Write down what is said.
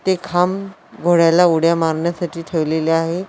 ते खांब घोड्याला उड्या मारण्यासाठी ठेवलेल्या आहे.